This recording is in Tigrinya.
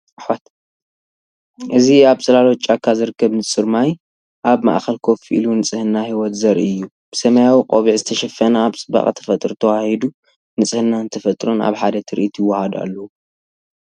እዚ ኣብ ጽላሎት ጫካ ዝርከብ ንጹር ማይ፡ ኣብ ማእከል ኮፍ ኢሉ፡ ንጽህና ህይወት ዘርኢ'ዩ፤ ብሰማያዊ ቆቢዕ ዝተሸፈነ ኣብ ጽባቐ ተፈጥሮ ተዋሃሂዱ። ንጽህናን ተፈጥሮን ኣብ ሓደ ትርኢት ይወሃሃዱ ኣለው።